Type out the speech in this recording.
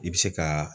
I bɛ se ka